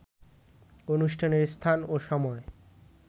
অনুষ্ঠানের স্থান ও সময়